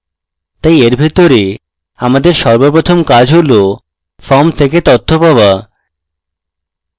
তাই এর ভিতরে আমাদের সর্বপ্রথম কাজ হল form থেকে তথ্য পাওয়া